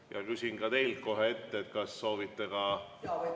Ja küsin ka teilt kohe ette ära, kas soovite kokku kaheksat minutit.